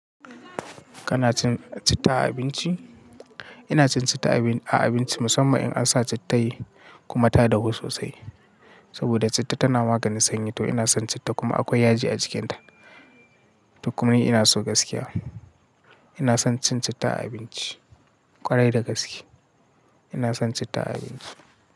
Ka na cin citta a abinci? Ina cin citta a abinci musamman in an sa citta kuma ta dahu sosai. Saboda citta tana maganin sanyi to ina son citta kuma akwai yaji a cikinta. Duk mini ina so gaskiya. Ina son cin citta a abinci kwarai da gaske. Ina son citta a abinci.